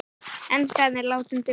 Enskan er látin duga.